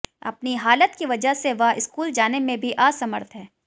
अपनी हालत की वजह से वह स्कूल जाने में भी असमर्थ है